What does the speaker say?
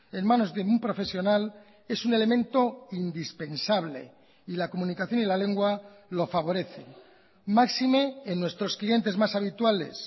en manos de un profesional es un elemento indispensable y la comunicación y la lengua lo favorecen máxime en nuestros clientes más habituales